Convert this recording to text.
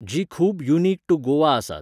जीं खूब unique to Goa आसात.